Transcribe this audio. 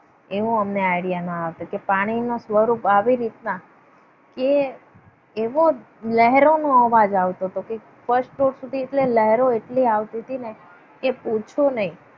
એવો અમને idea ના આપે કે પાણીનું સ્વરૂપ આવી રીતના કે એવો લહેરોનો અવાજ આવતો હતો કે first floor સુધી નહેરો એટલી આવતી હતી ને કે પૂછો ને.